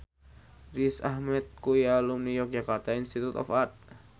Riz Ahmed kuwi alumni Yogyakarta Institute of Art